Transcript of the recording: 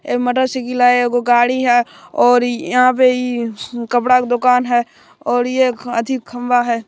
ए motorcycle हेय एगो गाड़ी हेय और यहां पे इ कपड़ा के दुकान हेय और ये अथी खंभा हेय।